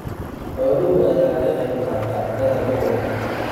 Xoolaha ayaa ka qayb qaata cuntada gobolka.